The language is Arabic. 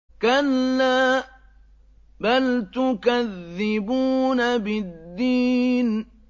كَلَّا بَلْ تُكَذِّبُونَ بِالدِّينِ